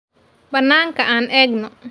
Banaanka aan eegno.